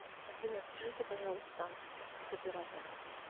афина свяжите пожалуйста с оператором